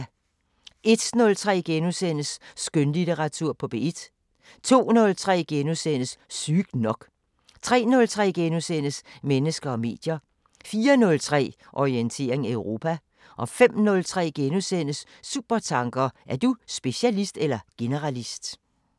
01:03: Skønlitteratur på P1 * 02:03: Sygt nok * 03:03: Mennesker og medier * 04:03: Orientering Europa 05:03: Supertanker: Er du specialist eller generalist? *